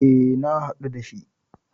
E, na haɗu da shi.